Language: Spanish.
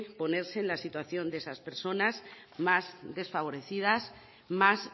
ponerse en la situación de esas personas más desfavorecidas más